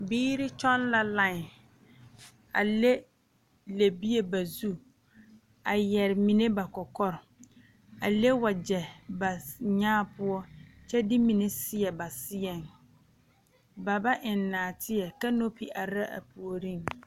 Biiri kyɔŋ la line a leŋ lɛbie ba zu a yɛre mine ba kɔkɔre a leŋ wagyɛ ba nyaa poɔ kyɛ de mine seɛ ba seɛŋ ba ba eŋ nɔɔteɛ kanopi are la a puoriŋ.